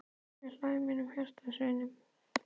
Ég hlæ við mínum hjartans vini.